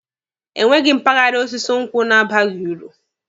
Enweghị mpaghara osisi nkwụ na-abaghi uru